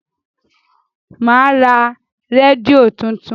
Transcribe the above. Mà á ra rédíò tuntun.